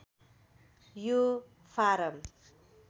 यो फारम